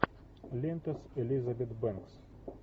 лента с элизабет бэнкс